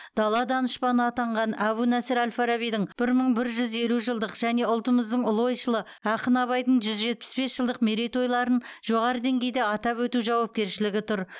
дала данышпаны атанған әбу насыр әл фарабидің бір мың бір жүз елу жылдық және ұлтымыздың ұлы ойшылы ақын абайдың жүз жетпіс бес жылдық мерейтойларын жоғары деңгейде атап өту жауапкершілігі тұр